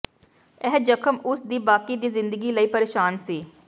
ਇਹ ਜ਼ਖ਼ਮ ਉਸ ਦੀ ਬਾਕੀ ਦੀ ਜ਼ਿੰਦਗੀ ਲਈ ਪਰੇਸ਼ਾਨ ਸੀ